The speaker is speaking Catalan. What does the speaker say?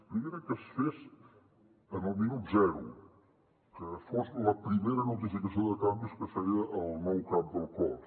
primera que es fes en el minut zero que fos la primera notificació de canvis que feia el nou cap del cos